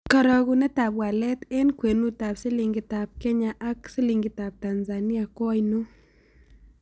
Karogunetap walet eng' kwenutap silingitap kenya ak silingitap tanzania ko ainon